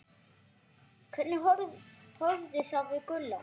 Hvernig horfði það við Gulla?